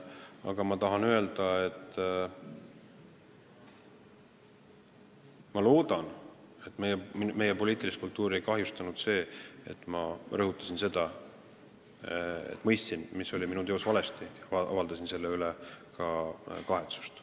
Samas ma tahan öelda, et loodetavasti meie poliitilist kultuuri pole kahjustanud see, et ma mõistsin, mis oli minu tegudes valesti, ja avaldasin selle üle ka kahetsust.